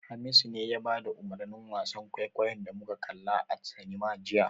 Hamisu ne ya bada umurnin wasan kwaikwayon da muka kalla a cinema jiya.